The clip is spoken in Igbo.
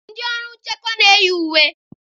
Ndị ọrụ nchekwa na-eyi uwe.